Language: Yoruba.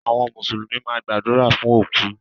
Àwọn mùsùlùmí máa gbàdúrà fún òkú.